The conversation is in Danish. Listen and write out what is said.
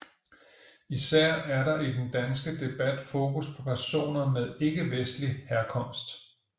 Især er der i den danske debat fokus på personer med ikkevestlig herkomst